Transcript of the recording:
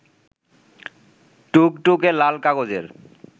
টুকটুকে লাল কাগজের